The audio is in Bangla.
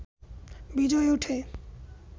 বিজয় উঠে